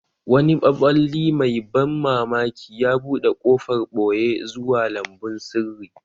Wani maɓalli mai ban mamaki ya buɗe ƙofar ɓoye zuwa lambun sirri.